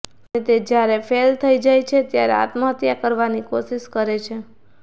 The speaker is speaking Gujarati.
અને તે જ્યારે ફેલ થઈ જાય છે ત્યારે આત્મહત્યા કરવાની કોશિશ કરે છે